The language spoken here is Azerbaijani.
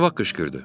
Nə vaxt qışqırdı?